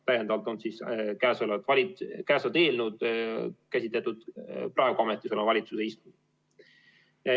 Täiendavalt on eelnõu käsitletud praegu ametis oleva valitsuse ajal.